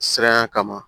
Siranya kama